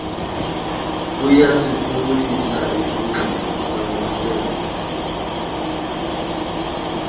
buyasiphumlisa isingxobo samasende